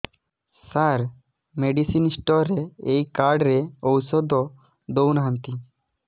ସାର medicine store ରେ ଏଇ card ରେ ଔଷଧ ଦଉନାହାନ୍ତି